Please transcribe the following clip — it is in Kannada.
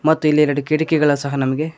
ಮತ್ತು ಇಲ್ಲಿ ಎರಡು ಕಿಟಕಿಗಳ್ ಸಹ ನಮ್ಮಗೆ--